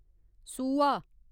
सूहा